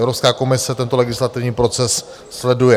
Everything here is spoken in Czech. Evropská komise tento legislativní proces sleduje.